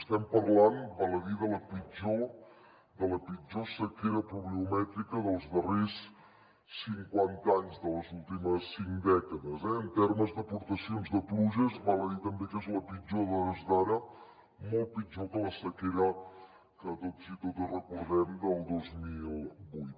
estem parlant val a dir de la pitjor sequera pluviomètrica dels darrers cinquanta anys de les últimes cinc dècades eh en termes d’aportacions de pluges val a dir també que és la pitjor a hores d’ara molt pitjor que la sequera que tots i totes recordem del dos mil vuit